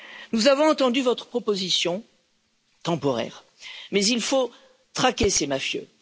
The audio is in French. Nous avons entendu votre proposition temporaire mais il faut traquer ces mafieux.